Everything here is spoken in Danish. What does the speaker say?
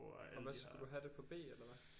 Og hvad skulle du have det på B eller hvad